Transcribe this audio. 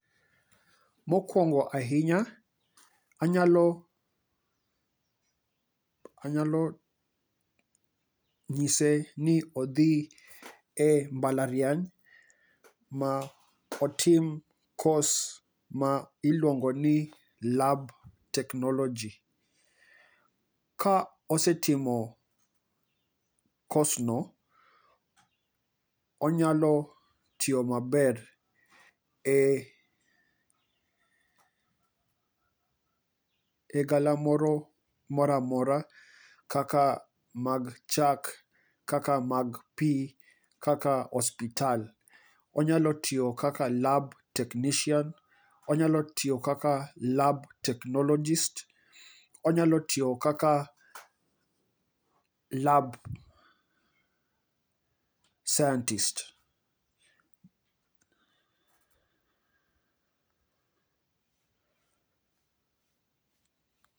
Mokwongo ahinya anyalo, anyalo nyise ni odhi e mbalariany ma otim kos ma iluongo ni Lab Technology. Ka osetimo kos no, onyalo tiyo maber e, e galamoro moramora kaka mag chak, kaka mag pi, kaka ospital. Onyalo tiyo kaka lab technician, onyalo tiyo kaka lab technologist, onyalo tiyo kaka lab scientist.